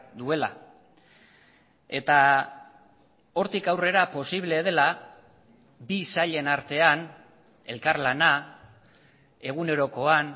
duela eta hortik aurrera posible dela bi sailen artean elkarlana egunerokoan